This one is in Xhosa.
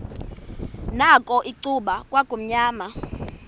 nakho icuba kwakumnyama